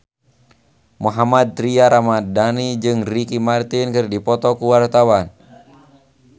Mohammad Tria Ramadhani jeung Ricky Martin keur dipoto ku wartawan